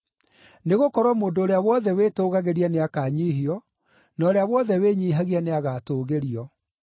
Nĩgũkorwo mũndũ ũrĩa wothe wĩtũgagĩria nĩakanyiihio, na ũrĩa wothe wĩnyiihagia nĩagatũũgĩrio.”